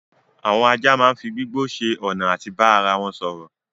Àwọn ajá máa n fí gbígbó ṣe ọna àti bá ara wọn sọrọ